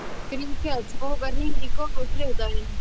Grímkell, bókaðu hring í golf á þriðjudaginn.